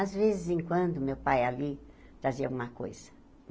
Às vezes, em quando meu pai ali fazia alguma coisa.